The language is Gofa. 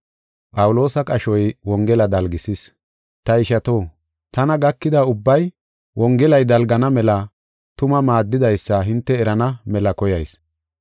Ta ishato, tana gakida ubbay Wongelay dalgana mela tuma maaddidaysa hinte erana mela koyayis.